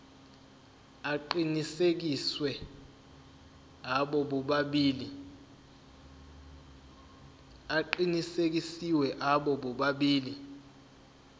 aqinisekisiwe abo bobabili